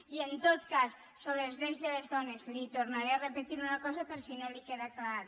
i en tot cas sobre els drets de les dones li tornaré a repetir una cosa per si no li queda clar